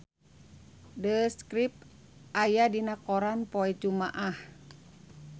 The Script aya dina koran poe Jumaah